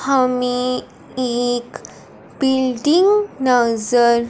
हमें एक बिल्डिंग नजर--